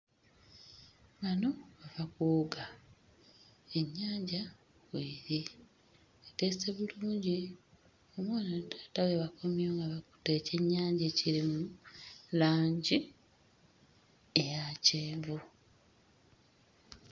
Bano bava kuwuga ennyanja w'eth eteese bulungi omwana ne taata we bakomyewo nga bakutte ekyennyaja ekiri mu langi eya kyenvu.